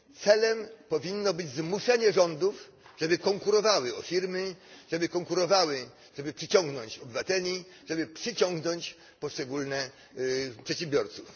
Celem powinno być zmuszenie rządów, żeby konkurowały o firmy, żeby konkurowały, żeby przyciągnąć obywateli, żeby przyciągnąć poszczególnych przedsiębiorców.